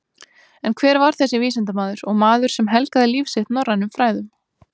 En hver var þessi vísindamaður og maður sem helgaði líf sitt norrænum fræðum?